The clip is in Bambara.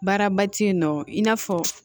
Baaraba tɛ yen nɔ i n'a fɔ